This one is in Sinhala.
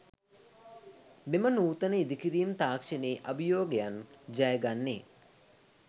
මෙම නූතන ඉදිකිරීම් තාක්‍ෂණයේ අභියෝගයන් ජය ගන්නේ